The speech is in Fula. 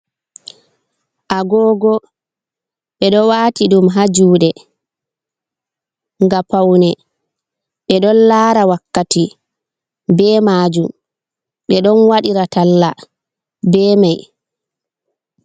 Agogo ɓeɗo wati ɗum ha juɗe nga pawne, ɓeɗon lara wakkati be majum, ɓeɗon waɗira talla bemai.